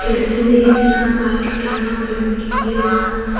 दिख रहा है व्हाइट कलर का पेंटिंग किया हुआ है।